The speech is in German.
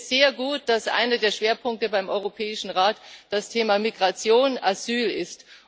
Ich finde es sehr gut, dass einer der Schwerpunkte beim Europäischen Rat das Thema Migration und Asyl ist.